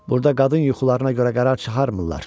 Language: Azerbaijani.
Burda qadın yuxularına görə qərar çıxarmırlar.